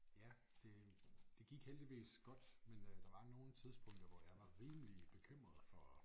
Ja det det gik heldigvis godt men øh der var nogle tidspunkter hvor jeg var rimelig bekymret for